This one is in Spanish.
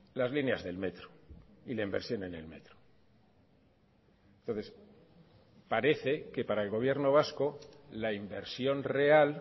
las líneas del metro y la inversión en el metro entonces parece que para el gobierno vasco la inversión real